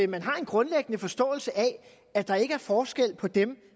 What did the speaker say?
man har en grundlæggende forståelse af at der ikke er forskel på dem